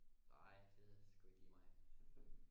Nej det er sku ikke lige mig